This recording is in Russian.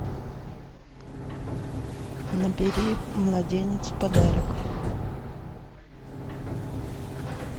набери младенец в подарок